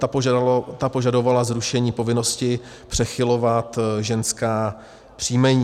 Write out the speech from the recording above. Ta požadovala zrušení povinnosti přechylovat ženská příjmení.